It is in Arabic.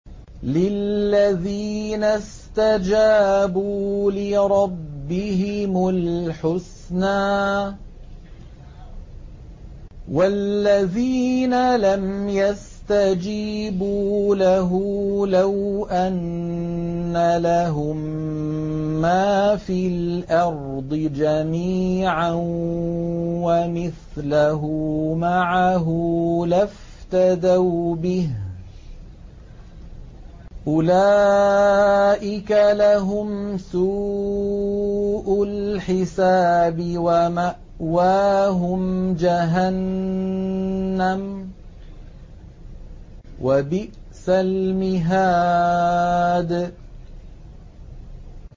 لِلَّذِينَ اسْتَجَابُوا لِرَبِّهِمُ الْحُسْنَىٰ ۚ وَالَّذِينَ لَمْ يَسْتَجِيبُوا لَهُ لَوْ أَنَّ لَهُم مَّا فِي الْأَرْضِ جَمِيعًا وَمِثْلَهُ مَعَهُ لَافْتَدَوْا بِهِ ۚ أُولَٰئِكَ لَهُمْ سُوءُ الْحِسَابِ وَمَأْوَاهُمْ جَهَنَّمُ ۖ وَبِئْسَ الْمِهَادُ